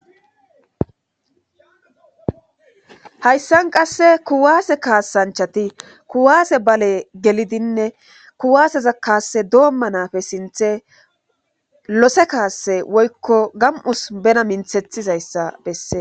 hayssan qasse kuwaase kaasanchati kuwaase bale gelidinne kuwaaseza kaasse doomma nafe sinthe lose kaase woykko gam'us bena minthethizayssa besse